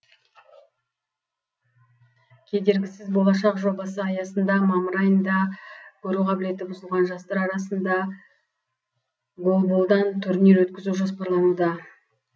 кедергісіз болашақ жобасы аясында мамыр айында көру қабілеті бұзылған жастар арасында голболдан турнир өткізу жоспарлануда